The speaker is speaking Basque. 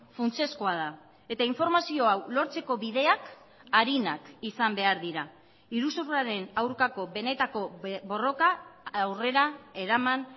funtsezkoa da eta informazioa hau lortzeko bideak arinak izan behar dira iruzurraren aurkako benetako borroka aurrera eraman